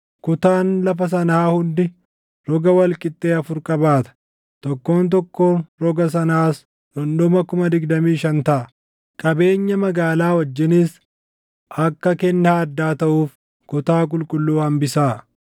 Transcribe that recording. Kutaan lafa sanaa hundi roga wal qixxee afur qabaata; tokkoon tokkoon roga sanaas dhundhuma 25,000 taʼa. Qabeenya magaalaa wajjinis akka kennaa addaa taʼuuf kutaa qulqulluu hambisaa.